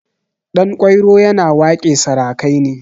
Ɗanƙwairo yana waƙe sarakai ne.